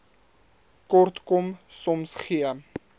kortkom soms gee